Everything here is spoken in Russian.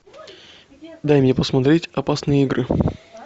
дай мне посмотреть опасные игры